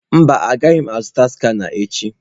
Mba, agaghị m azụta skana echi.